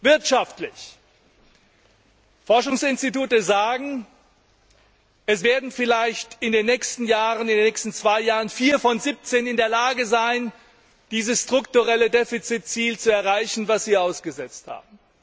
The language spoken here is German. Wirtschaftlich Forschungsinstitute sagen, es werden vielleicht in den nächsten zwei Jahren vier von siebzehn in der Lage sein, dieses strukturelle Defizitziel zu erreichen, das Sie ausgesetzt haben.